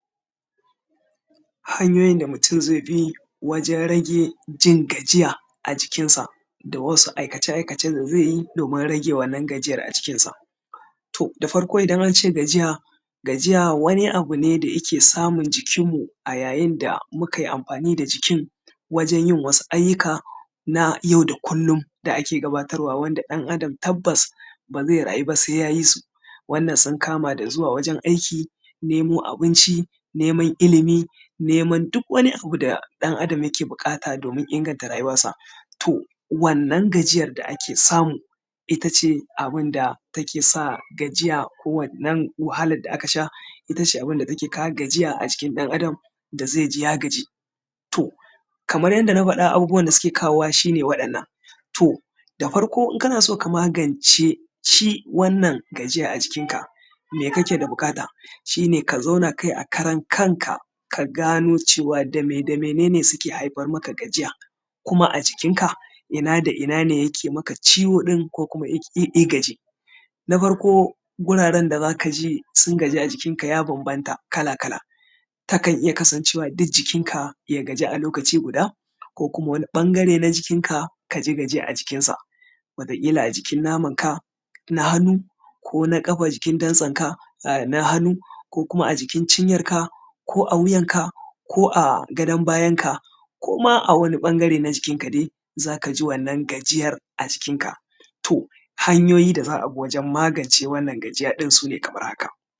Hanyoyin da mutum zai bi wajen rage jin gajiya a jikin sa da wasu aikace-aikace da zai yi domin rage wannan gajiyar a jikin sa. To da farko idan ance gajiya, gajiya wani abun ne da yake samun jikin mu a yayin da mu ka yi amfani da jikin wajen yin wasu ayyuka na yau da kullum da ake gabatarwa wanda ɗan-adam tabbas ba zai rayu ba sai ya yi su. Wannan sun kama da zuwa wajen aiki, nemo abinci, neman ilimi, neman duk wani abu da ɗan-adam yake buƙata domin inganta rayuwarsa. To, wannan gajiyar da ake samu, ita ce abin da take sa gajiya ko wannan wahalan da aka sha ita ce abin da take kawo gajiya a jikin ɗan-adam da zai ji ya gaji. To, kamar yanda na faɗa abubuwan da suke kawowa shi ne waɗannan. To, da farko in kana so ka magance shi wannan gajiya a jikin ka, me kake da buƙata? Shi ne ka zauna kai a karan kanka ka gano cewa me da mene ne suke haifar maka da gajiya, kuma a jikinka ina da ina ne yake maka ciwo ɗin ko kuma ya gaji. Na farko wuraren da zaka ji sun gaji a jikin ka ya bambanta, kala-kala, takan iya kasancewa duk jikinka ya gaji a lokaci guda ko kuma wani ɓangare na jikinki ka ji gajiya a jikinsa, wata ƙila a jikin namanka na hannu ko na ƙafa jikin dantsanka na hannu ko kuma a jikin cinyarka ko a wuyan ka ko a gadon bayanka ko ma a wani ɓangare na jikin ka dai, za ka ji wannan gajiyar a jikin ka. To, hanyoyi da za a bi wajen magance wannan gajiya ɗin su ne kamar haka.